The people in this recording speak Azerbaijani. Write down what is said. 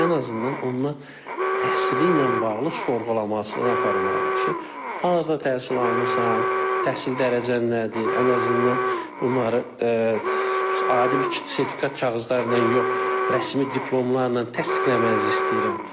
Ən azından onlar təhsili ilə bağlı sorğulamasını aparmalıdır ki, harda təhsil almısan, təhsil dərəcən nədir, ən azından bunları adi bir sertifikat kağızları ilə yox, rəsmi diplomlarla təsdiqləməyimizi istəyirəm.